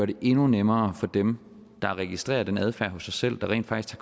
det endnu nemmere for dem der registrerer den adfærd hos sig selv og rent faktisk